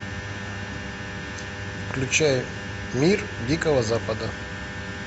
включай мир дикого запада